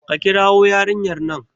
ka kirwo yarinyar nan!